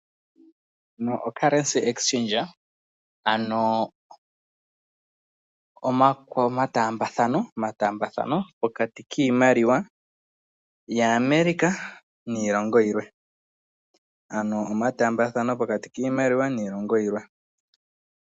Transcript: Ocurrency exachange ano omataambathano goshimaliwa pokati kiilongo yAmerica niilongo yimwe.